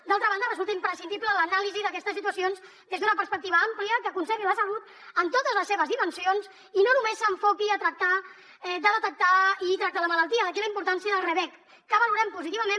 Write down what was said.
d’altra banda resulta imprescindible l’anàlisi d’aquestes situacions des d’una perspectiva àmplia que concebi la salut en totes les seves dimensions i no només s’enfoqui a tractar de detectar i tractar la malaltia d’aquí la importància dels rbec que valorem positivament